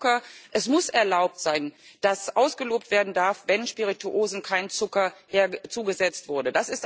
Zum Thema Zucker Es muss erlaubt sein, dass ausgelobt werden darf, wenn Spirituosen kein Zucker zugesetzt wurde.